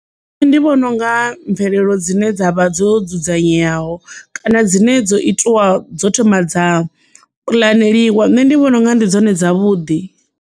Nṋe ndi vhona unga mvelelo dzine dzavha dzo dzudzanyeaho kana dzine dzo itiwa dzo thoma dza puḽaneliwa nṋe ndi vhona unga ndi dzone dzavhuḓi.